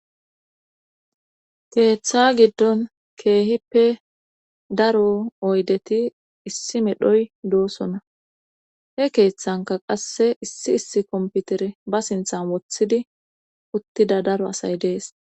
Keeththa giddon keehippe daro oydeti issi medhoy doosona he keeththanka qasse issi issi komputere ba sinthan woththidi uttida daro asay dees.